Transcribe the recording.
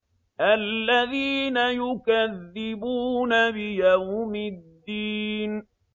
الَّذِينَ يُكَذِّبُونَ بِيَوْمِ الدِّينِ